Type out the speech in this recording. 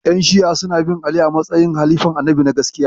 Yan Shi'a suna bin Ali a matsayin halifan Annabi na gaskiya